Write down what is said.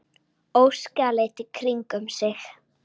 Óskar leit í kringum sig.